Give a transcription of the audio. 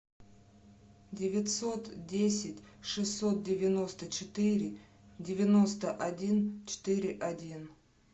девятьсот десять шестьсот девяносто четыре девяносто один четыре один